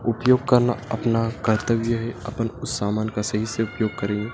उपयोग करना अपना कर्तव्य है अपन उस समान का सही से उपयोग करें।